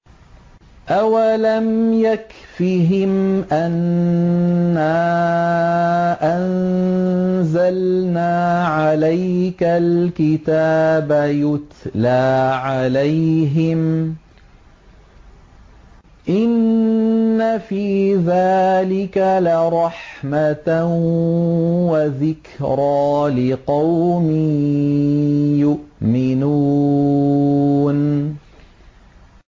أَوَلَمْ يَكْفِهِمْ أَنَّا أَنزَلْنَا عَلَيْكَ الْكِتَابَ يُتْلَىٰ عَلَيْهِمْ ۚ إِنَّ فِي ذَٰلِكَ لَرَحْمَةً وَذِكْرَىٰ لِقَوْمٍ يُؤْمِنُونَ